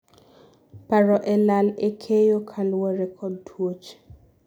paro e lal e keyo kaluore kod tuoche